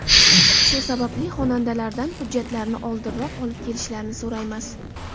Shu sababli xonandalardan hujjatlarini oldinroq olib kelishlarini so‘raymiz.